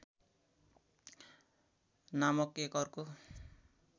नामक एक अर्को